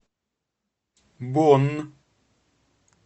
бонн